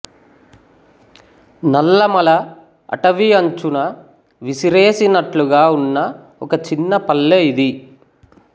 నల్లమల అటవీ అంచున విసిరేసినట్లుగా ఉన్న ఒక చిన్న పల్లె ఇది